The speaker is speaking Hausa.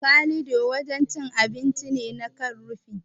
Kalido wajen cin abinci ne na kan rufi.